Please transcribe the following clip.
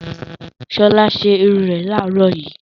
Ṣọlá ṣe irun rẹ̀ láàárọ̀ yìí.